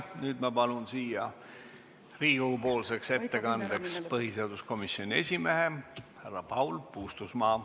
Nüüd ma palun siia ettekandeks põhiseaduskomisjoni esimehe härra Paul Puustusmaa.